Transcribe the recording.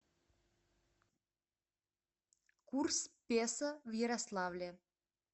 курс песо в ярославле